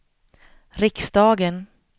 riksdagen